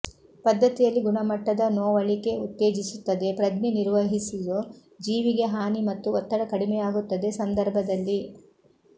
ಪದ್ದತಿಯಲ್ಲಿ ಗುಣಮಟ್ಟದ ನೋವಳಿಕೆ ಉತ್ತೇಜಿಸುತ್ತದೆ ಪ್ರಜ್ಞೆ ನಿರ್ವಹಿಸುವುದು ಜೀವಿಗೆ ಹಾನಿ ಮತ್ತು ಒತ್ತಡ ಕಡಿಮೆಯಾಗುತ್ತದೆ ಸಂದರ್ಭದಲ್ಲಿ